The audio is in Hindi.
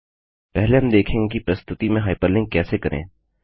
पहले हम देखेंगे कि प्रस्तुति में हाइपरलिंक कैसे करें